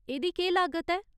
एह्दी केह् लागत ऐ ?